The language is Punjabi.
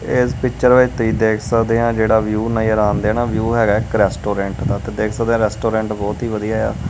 ਇਸ ਪਿਚਰ ਵਿੱਚ ਤੁਸੀਂ ਦੇਖ ਸਕਦੇ ਆ ਜਿਹੜਾ ਵਿਊ ਨਜਰ ਆਣ ਦੇਆ ਵਿਊ ਹੈਗਾ ਕਰੈਸਟੋਰੈਂਟ ਦਾ ਤੇ ਦੇਖ ਸਕਦੇ ਰੈਸਟੋਰੈਂਟ ਬਹੁਤ ਹੀ ਵਧੀਆ ਆ।